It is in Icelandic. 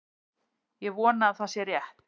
Ég vona að það sé rétt.